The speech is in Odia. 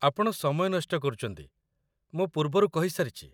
ଆପଣ ସମୟ ନଷ୍ଟ କରୁଛନ୍ତି, ମୁଁ ପୂର୍ବରୁ କହିସାରିଛି